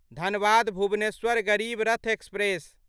Dhanbad Bhubaneswar Garib Rath express